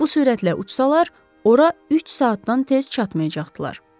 Bu sürətlə uçsalar, ora üç saatdan tez çatmayacaqdılar.